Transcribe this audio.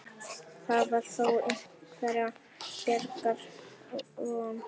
Þar var þó einhverrar bjargar von.